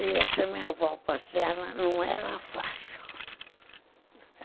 E essa minha avó paterna não era fácil.